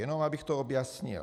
Jenom abych to objasnil.